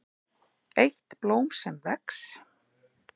EITT BLÓM SEM VEX